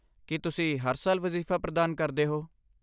ਕੀ ਤੁਸੀਂ ਹਰ ਸਾਲ ਵਜ਼ੀਫ਼ਾ ਪ੍ਰਦਾਨ ਕਰਦੇ ਹੋ?